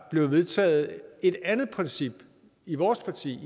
bliver vedtaget et andet princip i vores parti